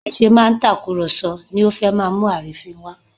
Bí a ṣe máa ń tàkùrọ̀sọ ló fẹ́ máa mú àrínfín wá